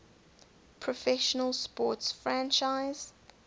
professional sports franchise